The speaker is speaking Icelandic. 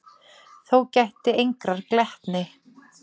Þó gætti engrar glettni.